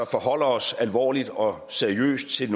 forholder os alvorligt og seriøst til